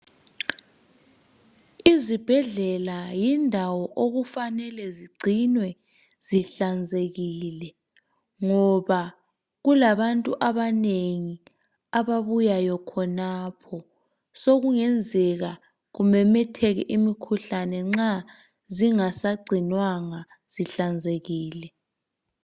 Izihedlela yindawo okufanele zigcinwe zihlanzekile ngoba kulabantu abanengi ababuyayo khonapho sokungenzeka kumemetheke imikhuhlane nxa zingasagcinwanga zihlanzekile.